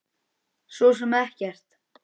Svo sem ekkert.